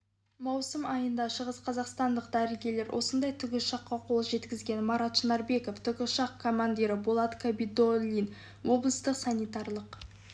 маусым айында шығысқазақстандық дәрігерлер осындай тікұшаққа қол жеткізген марат шынарбеков тікұшақ командирі болат қабидолдин облыстық санитарлық